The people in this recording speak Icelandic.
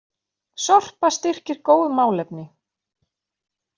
Sorpa styrkir góð málefni